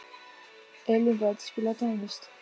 Elínbet, spilaðu tónlist.